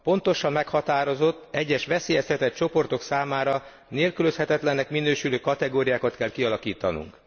Pontosan meghatározott, egyes veszélyeztetett csoportok számára nélkülözhetetlennek minősülő kategóriákat kell kialakítanunk.